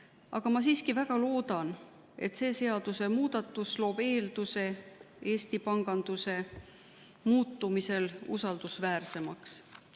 Aga ma siiski väga loodan, et see seadusemuudatus loob eelduse muuta Eesti pangandus usaldusväärsemaks.